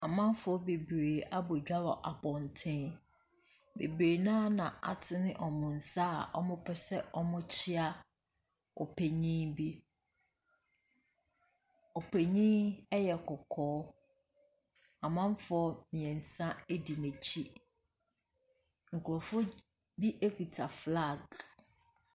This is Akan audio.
Amanfoɔ bebree abɔ dwa wɔ abɔntene. Bebree no ara na wɔatene wɔn nsa a wɔpɛ sɛ wɔkyea. Ɔpanin bi. Ɔpanin yi yɛ kɔkɔɔ. Amanfoɔ mmeɛnsa di n'akyi. Nkurfoɔ bi kuta flag.